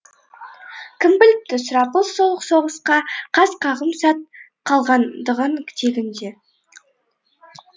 кім біліпті сұрапыл сол соғысқа қас қағым сәт қалғандығын тегінде